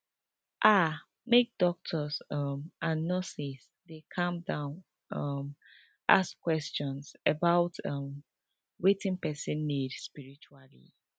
ah make doctors um and nurses dey calm um down ask question about um wetin person need spritually